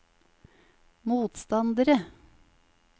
motstandere